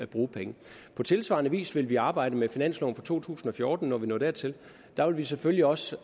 bruge penge på tilsvarende vis vil vi arbejde med finansloven for to tusind og fjorten når vi når dertil der vil vi selvfølgelig også